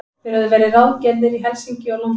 Þeir höfðu verið ráðgerðir í Helsinki og London.